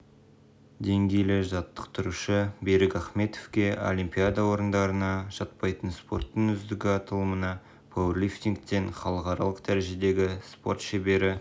деңгейлі жаттықтырушы берік ахметовке олимпиада ойындарына жатпайтын спорттың үздігі аталымына пауэрлифтингтен халықаралық дәрежедегі спорт шебері